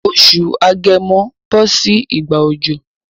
Oṣù agẹmo bọ́ sí ìgbà òjò